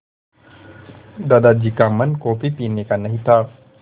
दादाजी का मन कॉफ़ी पीने का नहीं था